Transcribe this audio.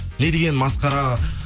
не деген масқара